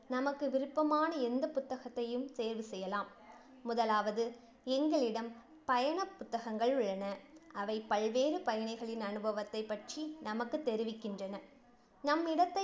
நமக்கு விருப்பமான எந்த புத்தகத்தையும் தேர்வு செய்யலாம். முதலாவது, எங்களிடம் பயண புத்தகங்கள் உள்ளன, அவை பல்வேறு பயணிகளின் அனுபவத்தைப் பற்றி நமக்குத் தெரிவிக்கின்றன. நம் இடத்தை